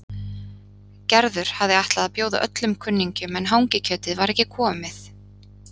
Gerður hafði ætlað að bjóða öllum kunningjunum en hangikjötið var ekki komið.